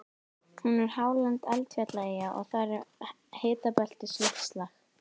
Hún er hálend eldfjallaeyja og þar er hitabeltisloftslag.